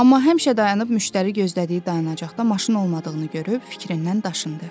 Amma həmişə dayanıb müştəri gözlədiyi dayanacaqda maşın olmadığını görüb fikrindən daşındı.